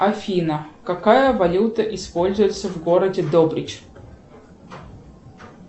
афина какая валюта используется в городе добрич